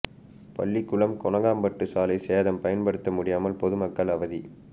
பள்ளிக்குளம் கொணக்கம்பட்டு சாலை சேதம் பயன்படுத்த முடியாமல் பொதுமக்கள் அவதி